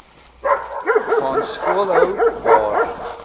gaan skoolhou waar